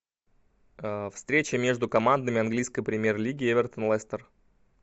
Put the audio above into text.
встреча между командами английской премьер лиги эвертон лестер